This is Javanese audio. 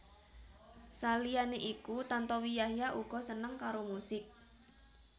Saliyané iku Tantowi Yahya uga seneng karo musik